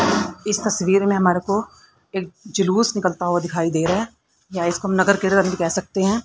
इस तस्वीर में हमारे को एक जुलूस निकलता हुआ दिखाई दे रहा है या इसको हम नगर भी कह सकते हैं।